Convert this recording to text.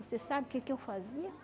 Você sabe o que que eu fazia?